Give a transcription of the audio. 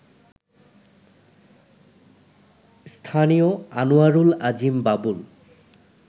স্থানীয় আনোয়ারুল আজিম বাবুল